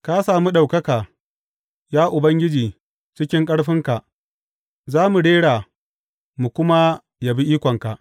Ka sami ɗaukaka, ya Ubangiji cikin ƙarfinka; za mu rera mu kuma yabi ikonka.